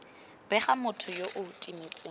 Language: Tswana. bega motho yo o timetseng